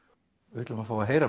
við ætlum að fá að heyra